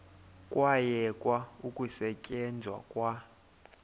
kwayekwa ukusetyenzwa kwa